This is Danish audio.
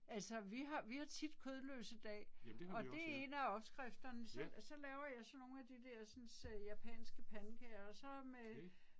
Altså vi har vi har tit kødløse dag, og det en af opskrifterne så så laver jeg sådan nogle af dersens øh japanske pandekager og så med